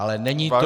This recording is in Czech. Ale není to -